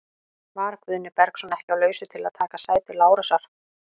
Var Guðni Bergsson ekki á lausu til að taka sæti Lárusar?